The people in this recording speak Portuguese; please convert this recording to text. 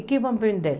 O que vão vender?